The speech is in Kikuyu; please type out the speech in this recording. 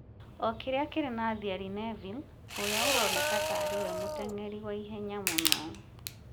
o kĩrĩa kĩrĩ na Thierry Neville, ũrĩa ũroneka ta arĩ we mũteng'eri wa ihenya mũno ,